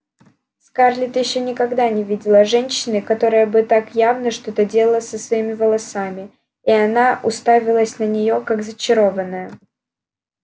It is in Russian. скарлетт ещё никогда не видела женщины которая бы так явно что-то делала со своими волосами и она уставилась на неё как зачарованная